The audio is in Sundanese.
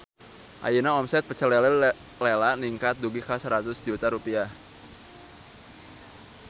Ayeuna omset Pecel Lele Lela ningkat dugi ka 100 juta rupiah